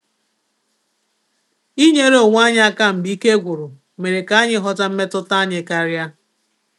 Inyere onwe anyị aka mgbe ike gwụrụ mere ka anyị ghọta mmetụta anyị karia